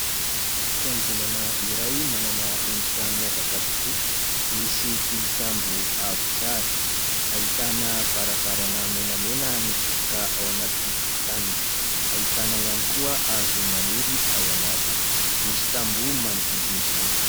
Fiangonana iray manana endrika miavaka tokoa. Misy tilikambo avo tsara, ahitana varavarana menamena mitsofoka ao anatin'ny tokotaniny, ahitana ihany koa hazo maniry ao anatiny, misy tamboho manodidina izany.